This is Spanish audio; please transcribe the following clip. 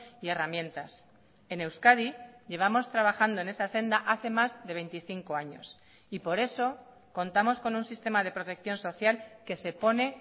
y herramientas en euskadi llevamos trabajando en esa senda hace más de veinticinco años y por eso contamos con un sistema de protección social que se pone